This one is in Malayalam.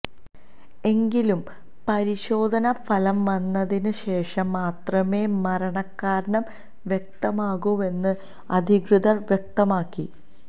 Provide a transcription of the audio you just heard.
എങ്കിലും പരിശോധന ഫലം വന്നതിന് ശേഷം മാത്രമേ മരണകാരണം വ്യക്തമാകൂവെന്നും അധികൃതര് വ്യക്തമാക്കി